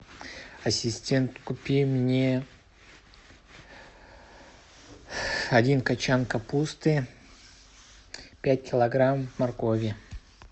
ассистент купи мне один кочан капусты пять килограмм моркови